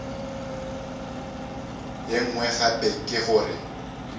ye nngwe gape ke gore